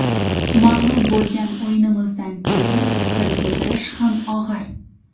Mag‘lub bo‘lgan o‘yinimizdan keyin fikr bildirish ham og‘ir.